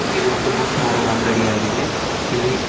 ಇದು ಒಂದು ಬುಕ್ ಮಾರುವ ಅಂಗಡಿ ಆಗಿದೆ ಇಲ್ಲಿ--